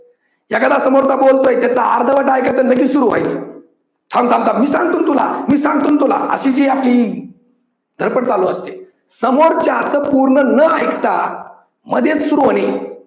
एखादा समोरचा बोलतोय त्याच अर्धवट ऐकायचं आणि लगेच सुरु व्हायचं, थांब थांब थांब मी सांगतो न तुला, मी सांगतो न तुला अशी जी आपली धडपड चालू असते. समोरच्याच पूर्ण न ऐकता मधेच सुरु होणे